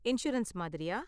Insurance மாதிரியா?